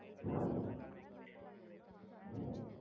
கடியல்லா பைசா போடா முடியாது